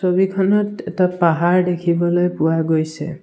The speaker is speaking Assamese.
ছবিখনত এটা পাহাৰ দেখিবলৈ পোৱা গৈছে।